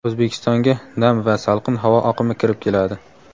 O‘zbekistonga nam va salqin havo oqimi kirib keladi.